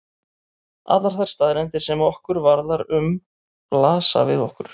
Allar þær staðreyndir sem okkur varðar um blasa við okkur.